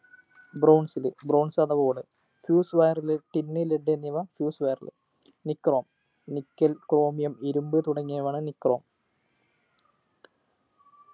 bronze ൽ bronze ആണ് fuse wire ലെ tin led എന്നിവ fuse wire ൽ nichromenickel chromium ഇരുമ്പ് തുടങ്ങിയവയാണ് nichrome